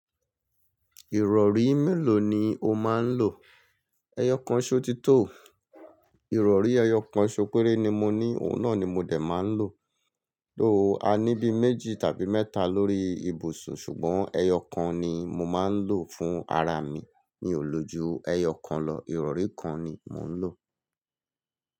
Ìrọ̀rí mélòó ni o máa ń lò? Ẹyọ kan ṣó ti tò. Ìrọ̀rí ẹyọ kan ṣó péré ni mo ní, òun náà ni mo dé máa ń lò. Lóòó a ní bí méjì tàbí mẹ́ta lórí ibùsùn ṣùgbọ́n ẹyọ kan ni mo máa ń lò fún ara mi. Mi ò lò ju ẹyọ kan lọ, ìrọ̀rí kan ni mò ń lò.